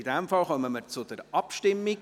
In diesem Fall kommen wir zur Abstimmung.